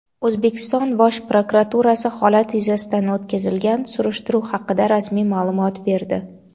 O‘zbekiston Bosh prokuraturasi holat yuzasidan o‘tkazilgan surishtiruv haqida rasmiy ma’lumot berdi.